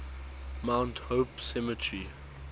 mount hope cemetery